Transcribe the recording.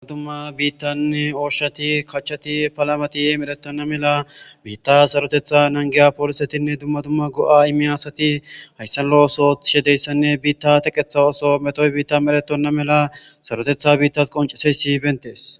duma dumma biittanne ooshati kachati palamati yemeretonna mela biitta sarotetha nangiya poolisetinne dumma dumma go7a imi asati hayssanla oso tishedeyssanne biitta teqetha oso metoy biitta meretonna mela sarotetha biittas qonceseyssi bentees